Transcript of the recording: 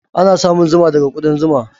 Ana samun zuma daga ƙudan zuma.